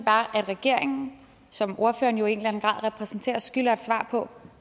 at regeringen som ordføreren i en eller anden grad repræsenterer skylder et svar på